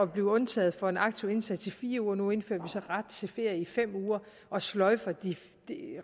blive undtaget for en aktiv indsats i fire uger nu indfører vi så ret til ferie i fem uger og sløjfer